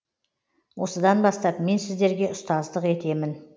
осыдан бастап мен сіздерге ұстаздық етемін